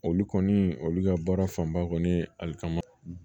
Olu kɔni olu ka baara fanba kɔni ye alikama